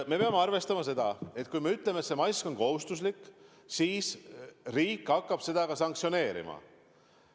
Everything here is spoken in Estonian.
Me peame arvestama seda, et kui me ütleme, et mask on kohustuslik, siis riik hakkab nõude rikkumise eest ka sanktsioneerima.